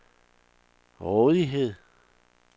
rådighed